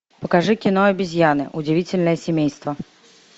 покажи кино обезьяны удивительное семейство